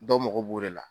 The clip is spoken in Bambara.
Dɔw mago b'o de la